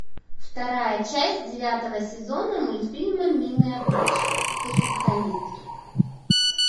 вторая часть девятого сезона мультфильма милые обманщицы перфекционистки